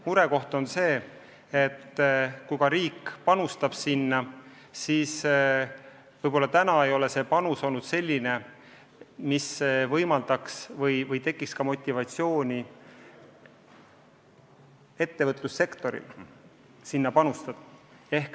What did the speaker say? Murekoht on see, et riik panustab sellesse, aga see panus ei ole olnud selline, mis tekitaks motivatsiooni ka ettevõtlussektoril sellesse oma panus anda.